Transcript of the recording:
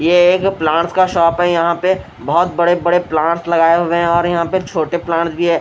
ये एक प्लांट्स का शॉप है यहां पे बहोत बड़े बड़े प्लांट्स लगाए हुए है और यहां पे छोटे प्लांट्स भी है।